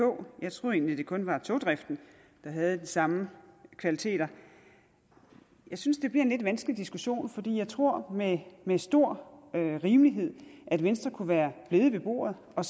kog jeg troede egentlig det kun var togdriften der havde de samme kvaliteter jeg synes det bliver en lidt vanskelig diskussion for jeg tror med med stor rimelighed at venstre kunne være blevet ved bordet og